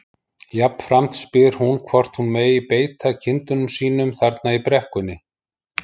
Jafnframt spyr hún hvort hún megi beita kindunum sínum þarna í brekkunni.